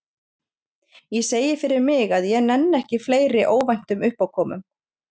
Ég segi fyrir mig að ég nenni ekki fleiri óvæntum uppákomum.